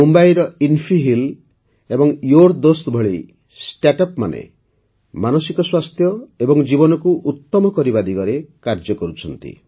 ମୁମ୍ବାଇର ଇନ୍ଫିହିଲ୍ ଏବଂ ୟୋର୍ଦୋସ୍ତ ଭଳି ଷ୍ଟାର୍ଟଅପ୍ମାନେ ମାନସିକ ସ୍ୱାସ୍ଥ୍ୟ ଏବଂ ଜୀବନକୁ ଉତ୍ତମ କରିବା ଦିଗରେ କାର୍ଯ୍ୟ କରୁଛନ୍ତି